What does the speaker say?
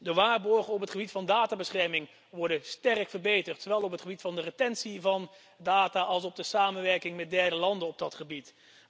De waarborgen op het gebied van databescherming worden sterk verbeterd, zowel ten aanzien van het bewaren van data als van de samenwerking met derde landen op dat gebied.